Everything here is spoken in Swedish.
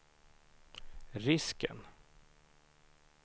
risken